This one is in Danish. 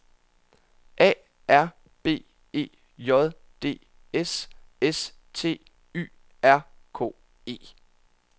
A R B E J D S S T Y R K E